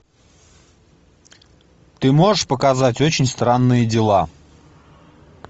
ты можешь показать очень странные дела